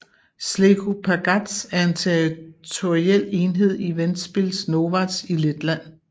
Zlēku pagasts er en territorial enhed i Ventspils novads i Letland